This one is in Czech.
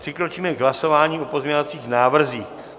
Přikročíme k hlasování o pozměňovacích návrzích.